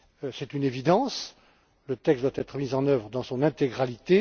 C'est une évidence, le texte doit être mis en œuvre dans son intégralité.